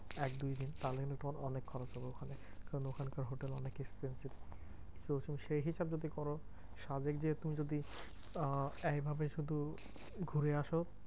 এক দুই দিন তাহলে পর অনেক খরচ হবে ওখানে। কারণ ওখানকার হোটেল অনেক expensive. তো তুমি সেই হিসেব যদি করো সাজেক গিয়ে তুমি যদি আহ এইভাবে শুধু ঘুরে আসো